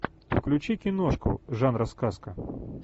включи киношку жанра сказка